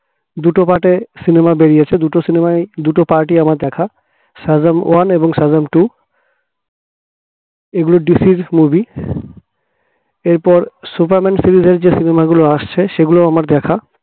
দুটো part এ cinema বেরিয়েছে দুটো cinema য় দুটো part আমার দেখা সাজম one এবং সাজাম two এগুলো DC movie এরপর superman series র যেই cinema গুলো আসছে সেগুলো আমার দেখা